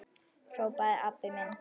hrópaði Abba hin.